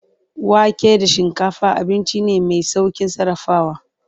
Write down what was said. Wake da shinkafa abinci ne mai saukin sarrafawa.